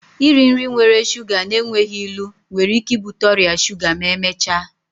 Iri nri nwere shuga na-enweghị ilu nwere ike ibute ọrịa shuga ma emechaa